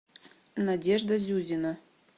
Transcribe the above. надежда зюзина